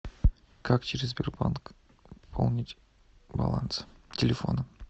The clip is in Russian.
как через сбербанк пополнить баланс телефона